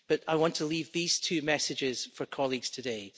I want to leave these two messages for colleagues today.